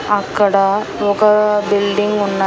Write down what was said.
అక్కడ ఒక బిల్డింగ్ ఉన్న--